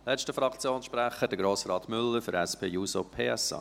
Als letzter Fraktionssprecher, Grossrat Müller für die SP-JUSO-PSA.